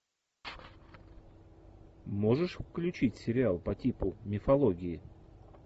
можешь включить сериал по типу мифологии